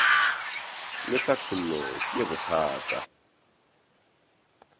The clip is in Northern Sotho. le tlhathollo ke ye bothata